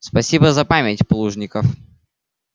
спасибо за память плужников